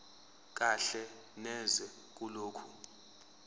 kahle neze kulokho